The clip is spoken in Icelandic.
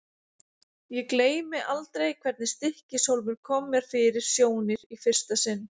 Ég gleymi aldrei hvernig Stykkishólmur kom mér fyrir sjónir í fyrsta sinn.